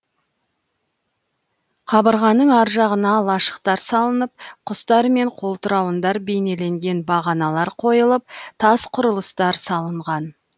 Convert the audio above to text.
қабырғаның ар жағына лашықтар салынып құстар мен қолтырауындар бейнеленген бағаналар қойылып тас құрылыстар салынған